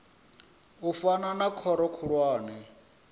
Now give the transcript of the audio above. u fana na khoro khulwane